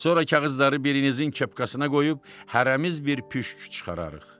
Sonra kağızları birinizin kepkasına qoyub, hərəmiz bir püşk çıxararıq.